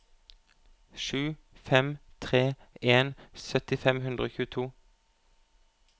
sju fem tre en sytti fem hundre og tjueto